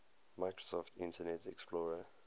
microsoft internet explorer